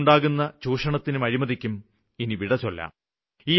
അതുവഴിയുണ്ടാകുന്ന ചൂഷണത്തിനും അഴിമതിക്കും ഇനി വിടചൊല്ലാം